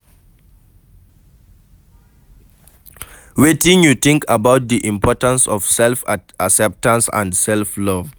Wetin you think about di importance of self-acceptance and self-love?